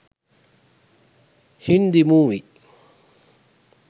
hindi movie